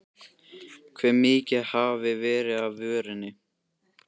Hve mikið hafi verið af vörunni?